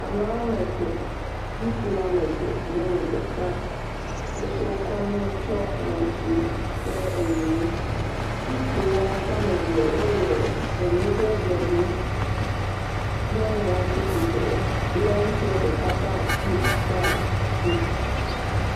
Ame woame etɔ̃, ŋutsu woame eve kple nyɔnu ɖeka wo katã wotsɔ nu tsiɔ ŋɔti kple nu, ŋutsu wo ame eve wole nu aɖe ɖoli, nyɔnua tsi tsitre lé ŋutsua ɖeka ƒe asi ɖe asi.